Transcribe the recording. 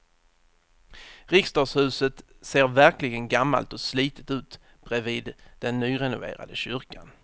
Riksdagshuset ser verkligen gammalt och slitet ut bredvid den nyrenoverade kyrkan.